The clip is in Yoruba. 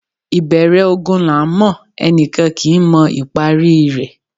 Ìbẹ̀rẹ̀ ogun là ńmọ̀; ẹni kan kì í mọ ìparí i rẹ̀.